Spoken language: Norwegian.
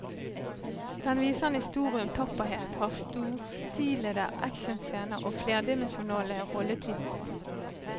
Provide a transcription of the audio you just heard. Den viser en historie om tapperhet, har storstilede actionscener og flerdimensjonale rolletyper.